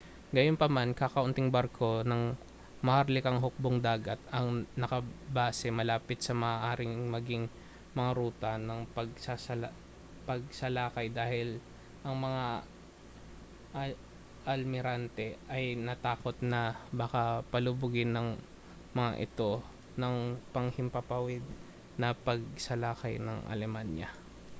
gayunpaman kakaunting barko ng maharlikang hukbong-dagat ang nakabase malapit sa maaaring maging mga ruta ng pagsalakay dahil ang mga almirante ay natakot na baka palubugin ang mga ito ng panghimpapawid na pagsalakay ng alemanya